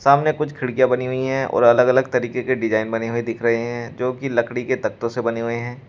सामने कुछ खिड़कियां बनी हुई हैं और अलग अलग तरीके के डिजाइन बने हुए दिख रहे हैं जो कि लकड़ी के तख्तों से बने हुए हैं।